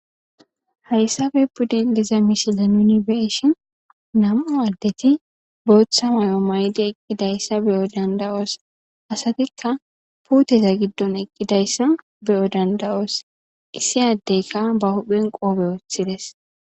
Hayssape pude diza misile nuni be7ishen namu'u adeti botha mayo mayidi eqidayisa beyo dandayosi puuteta gidoni eqidayisa beyo dandayosi issi adeyika ba hupheni qobe withidesi